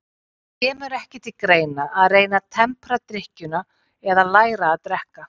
Það kemur ekki til greina að reyna að tempra drykkjuna eða læra að drekka.